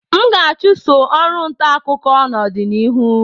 M ga-achụso ọrụ ntaakụkọ n'ọdịnihu